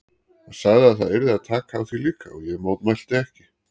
Hann sagði að það yrði að taka á því líka og ég mótmælti ekki.